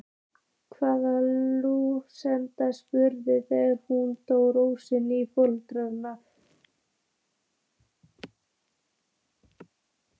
hafði Lúna spurt þegar hún dró Rósu inn í forstofuna.